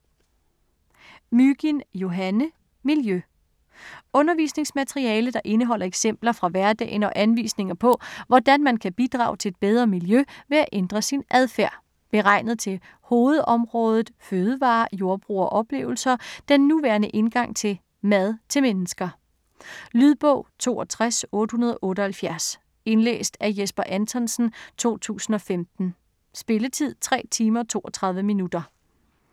Mygind, Johanne: Miljø Undervisningsmateriale der indeholder eksempler fra hverdagen og anvisninger på, hvordan man kan bidrage til et bedre miljø ved at ændre sin adfærd. Beregnet til hovedområdet Fødevarer, Jordbrug og Oplevelser, den nuværende indgang til "Mad til mennesker". Lydbog 628878 Indlæst af Jesper Anthonsen, 2015. Spilletid: 3 timer, 32 minutter.